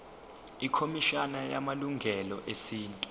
ikhomishana yamalungelo esintu